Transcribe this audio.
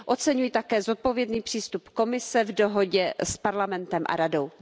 Oceňuji také zodpovědný přístup Komise v dohodě s Parlamentem a Radou.